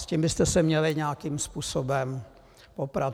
S tím byste se měli nějakým způsobem poprat.